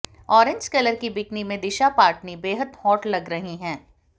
orange colour की bikini में दिशा पाटनी बेहद हॉट लग रही हैं